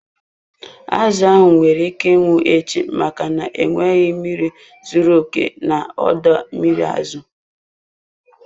Azụ ahụ nwere ike ịnwụ echi, maka na enweghị mmiri zuru oke na ọdọ mmiri azụ.